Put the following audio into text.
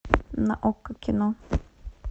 на окко кино